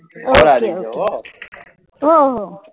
Okay okay